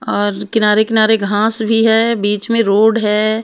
और किनारे-किनारे घास भी है बीच में रोड है।